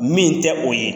Min tɛ o ye